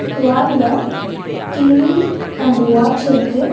வால்ல TV and watch இருக்கு.